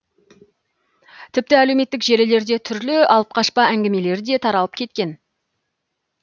тіпті әлеуметтік желілерде түрлі алып қашпа әңгімелер де таралып кеткен